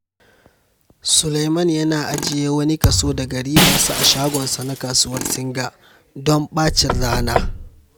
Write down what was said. Suleiman yana ajiye wani kaso daga ribarsa a shagonsa na Kasuwar Singa don ɓacin rana.